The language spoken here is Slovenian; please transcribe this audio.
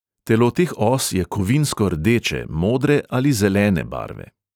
Telo teh os je kovinsko rdeče, modre ali zelene barve.